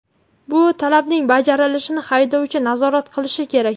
Bu talabning bajarilishini haydovchi nazorat qilishi kerak.